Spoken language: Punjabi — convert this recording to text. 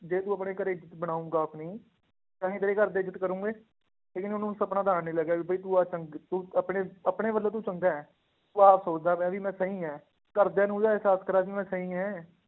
ਜੇ ਤੂੰ ਆਪਣੇ ਘਰੇ ਇੱਜਤ ਬਣਾਊਂਗਾ ਆਪਣੀ ਤਾਂ ਹੀ ਤੇਰੇ ਘਰਦੇ ਇੱਜਤ ਕਰਨਗੇ, ਠੀਕ ਨੀ ਉਹਨੂੰ ਸਪਨਾ ਤਾਂ ਆਉਣ ਨੀ ਲੱਗਿਆ ਵੀ ਬਾਈ ਤੂੰ ਆਹ ਚੰਗ~ ਤੂੰ ਆਪਣੇ ਆਪਣੇ ਵੱਲੋਂ ਤੂੰ ਚੰਗਾ ਹੈ, ਤੂੰ ਆਪ ਸੋਚਦਾ ਪਿਆਂ ਵੀ ਮੈਂ ਸਹੀ ਹੈ, ਘਰਦਿਆਂ ਨੂੰ ਇਹਦਾ ਇਹਸਾਸ ਕਰਵਾ ਵੀ ਮੈਂ ਸਹੀ ਹੈਂ